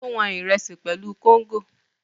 Ó wọn Ìrẹ́sì pẹ̀lú kóngò